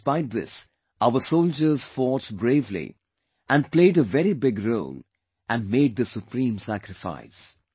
Despite this, our soldiers fought bravely and played a very big role and made the supreme sacrifice